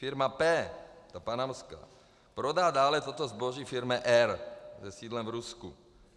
Firma P, ta panamská, prodá dále toto zboží firmě R se sídlem v Rusku.